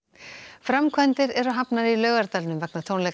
framkvæmdir eru hafnar í Laugardalnum vegna tónleika